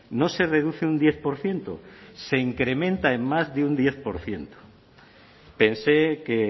no se reduce un diez por ciento se incrementa en más de un diez por ciento pensé que